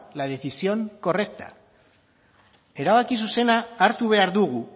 la decisión correcta erabaki zuzena hartu behar dugu